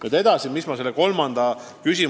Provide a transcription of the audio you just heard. Nüüd edasi, teie kolmas küsimus.